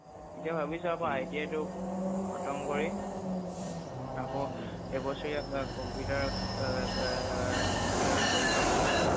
এতিয়া ভাবিছো আকৌ ITI টো খতম কৰি আকৌ এবছৰীয়া computer computer টো কৰি লওঁ নেকি